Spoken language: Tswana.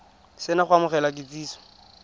se na go amogela kitsiso